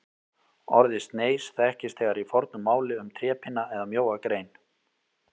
Orðið sneis þekkist þegar í fornu máli um trépinna eða mjóa grein.